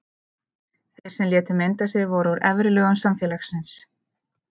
Þeir sem létu mynda sig voru úr efri lögum samfélagsins.